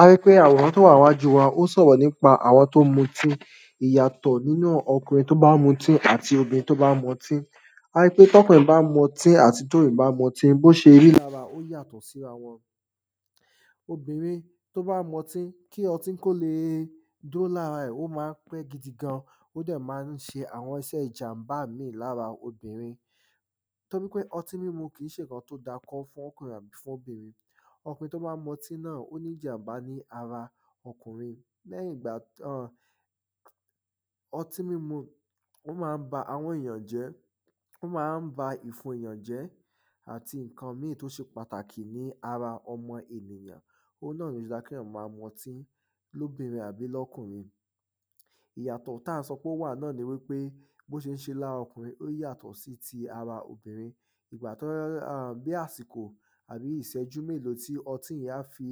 ari pé àwòrán tó wà níwájú wa o sọ̀rọ̀ nípa àwọn tí ó ń mutí ìyàtọ̀ nínú okùnrin tó bá mutí àti Obìnrin tó bá mutí arí pé tókùnrin bá ń mutí àti tó obìrin bá mutí, bó ṣe rí ó yàtọ̀ sára wọn ọbìrin tí ó bá mutí kí ọtí kó le dúró lára rẹ̀, ó ma ń pẹ́ gidi gan ó dẹ̀ ma ń ṣe àwọn iṣẹ ìjànbá míì lára obìrin torípé ọtí mímu kìí ṣe ǹkan tí ó da fún fókùnrin àbí àtobìrin Ọkùnrin tó bá mọtí náà o ní ìjànbá ní ara okùnrin lẹ́yìn ìgbà tí urh ọtí mímu, ó ma ń ba ahọ́n ènìyàn jẹ́ ó ma ń ba ìfun ènìyàn jẹ́ àti ǹkan míì tó ṣe pàtàkì ní ara ọmọ ènìyàn òun náà ni ò fi dáa kéèyàn ma mọtí lókùnrin àti lóbìnrin ìyàtọ̀ táà n ṣọ pé ó wà náà ni wípé bó ṣeṣe lára okùnrin yàtọ̀ sí ara obìrin ìgbà tó, a bí àsìkò tàbí iṣẹ́jú mélòó tí ọtí yẹn á fi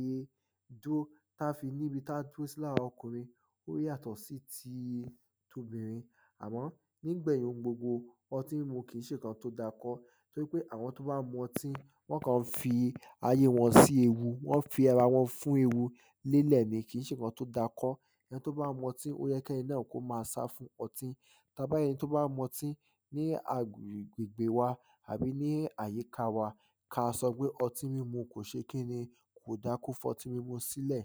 dúró tí á fi níbi tá dúró sí lára okùnrin ó yàtọ̀ sí ti tobìrin àmọ́ nígbèyìn gbogbo, ọtí mímu kìí ṣe ǹkan tó da kọ́ torípé àwọn tó bá mọtí, wọ́n kàn fi ayé wọn sí ewu wọ́n fi ara wọn fún ewu lélẹ̀ ni kìí ṣe ǹkan tó da kọ́ ẹni tó bá mọtí, óyẹ kẹ́ni náà kó ma sá fún ọtí tabá rí ẹni tó bá mọtí ní agbègbè wa àbí ní àyíká wa ka sọpé ọtí mímu kò ṣe kíni kò da kó fọtí mímu sílẹ̀